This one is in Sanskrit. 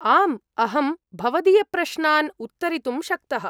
आम्, अहं भवदीयप्रश्नान् उत्तरितुं शक्तः।